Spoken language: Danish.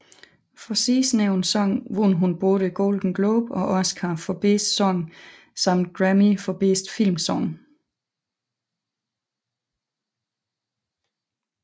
For sidstnævnte sang vandt hun både Golden Globe og Oscar for bedste sang samt Grammy for bedste filmsang